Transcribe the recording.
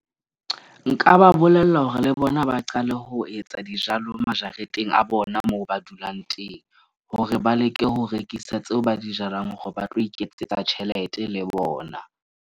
Nka ba bolella hore le bona ba qale ho etsa dijalo majareteng a bona, moo ba dulang teng. Hore ba leke ho rekisa tseo ba di jalang hore ba tlo iketsetsa tjhelete le bona.